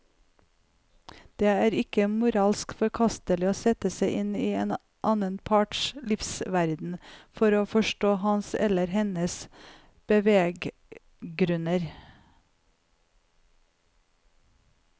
Det er ikke moralsk forkastelig å sette seg inn i den annen parts livsverden for å forstå hans eller hennes beveggrunner.